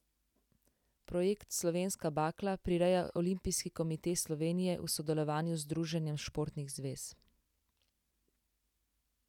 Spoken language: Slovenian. Projekt Slovenska bakla prireja Olimpijski komite Slovenije v sodelovanju z Združenjem športnih zvez.